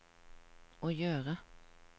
å gjøre